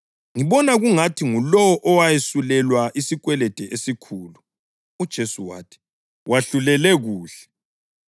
USimoni waphendula wathi, “Ngibona kungathi ngulowo owesulelwa isikwelede esikhulu.” UJesu wathi, “Wahlulele kuhle.”